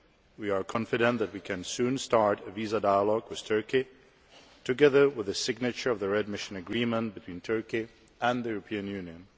We are confident that we can soon start a visa dialogue with Turkey, together with the signature of the readmission agreement between Turkey and the European Union.